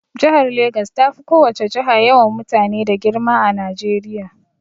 Jihar Legas tafi ko wace jiha yawan mutane da girma a Najeriya.